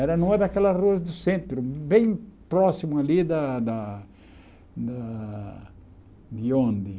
Era numa daquelas ruas do centro, bem próximo ali da da da... De onde?